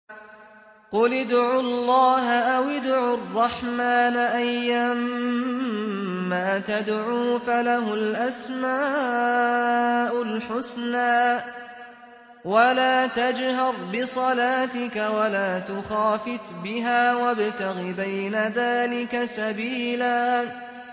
قُلِ ادْعُوا اللَّهَ أَوِ ادْعُوا الرَّحْمَٰنَ ۖ أَيًّا مَّا تَدْعُوا فَلَهُ الْأَسْمَاءُ الْحُسْنَىٰ ۚ وَلَا تَجْهَرْ بِصَلَاتِكَ وَلَا تُخَافِتْ بِهَا وَابْتَغِ بَيْنَ ذَٰلِكَ سَبِيلًا